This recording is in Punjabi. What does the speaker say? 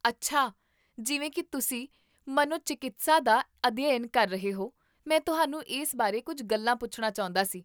ਅੱਛਾ, ਜਿਵੇਂ ਕਿ ਤੁਸੀਂ ਮਨੋ ਚਿਕੀਤਸਾ ਦਾ ਅਧਿਐਨ ਕਰ ਰਹੇ ਹੋ, ਮੈਂ ਤੁਹਾਨੂੰ ਇਸ ਬਾਰੇ ਕੁੱਝ ਗੱਲਾਂ ਪੁੱਛਣਾ ਚਾਹੁੰਦਾ ਸੀ